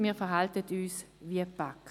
Wir verhalten uns wie die BaK.